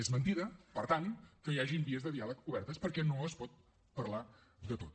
és mentida per tant que hi hagin vies de diàleg obertes perquè no es pot parlar de tot